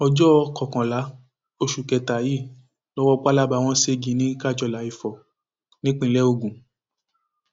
ọjọ kọkànlá oṣù kẹta yìí lowó palaba wọn ségi ní kájọlà ìfọ nípínlẹ ogun